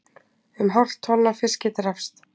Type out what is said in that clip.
Um hálft tonn af fiski drapst